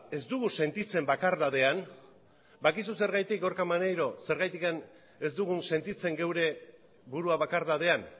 ez dugu sentitzen bakardadean badakizu zergatik ez dugun sentitzen gure burua bakardadean